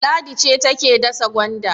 Ladi ce take dasa gwanda.